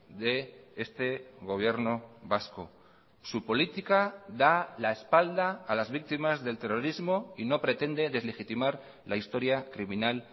de este gobierno vasco su política da la espalda a las víctimas del terrorismo y no pretende deslegitimar la historia criminal